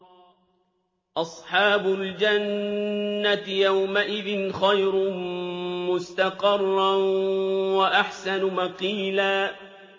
أَصْحَابُ الْجَنَّةِ يَوْمَئِذٍ خَيْرٌ مُّسْتَقَرًّا وَأَحْسَنُ مَقِيلًا